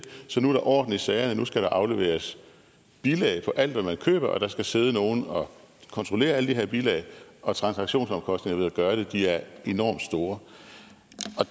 så nu er der orden i sagerne nu skal der afleveres bilag for alt hvad man køber og der skal sidde nogen og kontrollere alle de her bilag og transaktionsomkostningerne ved at gøre det er enormt store